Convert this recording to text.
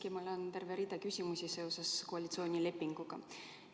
Aga mul on terve rida küsimusi seoses koalitsioonilepinguga.